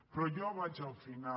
però jo vaig al final